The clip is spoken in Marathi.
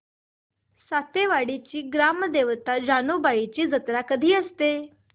सातेवाडीची ग्राम देवता जानुबाईची जत्रा कधी असते